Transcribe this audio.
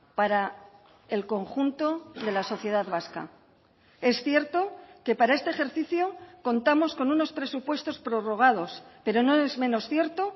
para el conjunto de la sociedad vasca es cierto que para este ejercicio contamos con unos presupuestos prorrogados pero no es menos cierto